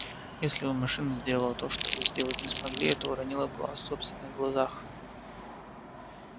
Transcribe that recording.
если бы машина сделала то что вы сделать не смогли это уронило бы вас в собственных глазах